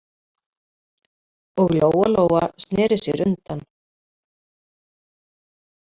Og Lóa-Lóa sneri sér undan.